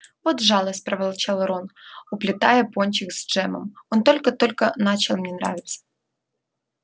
вот жалость проворчал рон уплетая пончик с джемом он только-только начал мне нравиться